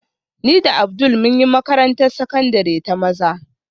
Ni da Abdul mun yi makarantar sakandare ta maza